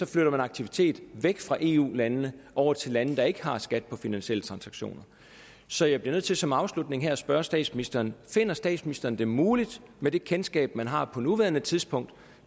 flytter man aktivitet væk fra eu landene over til lande der ikke har skat på finansielle transaktioner så jeg bliver nødt til som afslutning her at spørge statsministeren finder statsministeren det muligt med det kendskab man har på nuværende tidspunkt